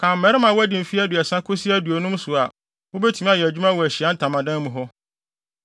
Kan mmarima a wɔadi mfe aduasa kosi aduonum so a wobetumi ayɛ adwuma wɔ Ahyiae Ntamadan mu hɔ.